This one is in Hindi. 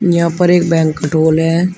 यहां पर एक बैंक्वेट हाल है।